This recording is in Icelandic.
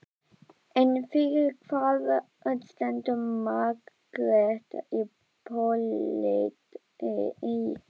En fyrir hvað stendur Margrét í pólitík?